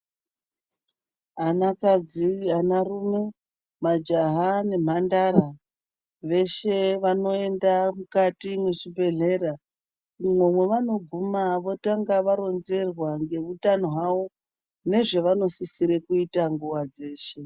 Anakadzi , anarume, majaha nemhandara veshe vanoenda mukati mwezvibhedhlera umwo mwavanoguma votanga varonzerwa ngeutano hawo nezvevanosisire kuita nguwa dzeshe.